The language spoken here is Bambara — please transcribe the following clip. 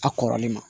A kɔrɔlen ma